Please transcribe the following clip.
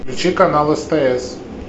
включи канал стс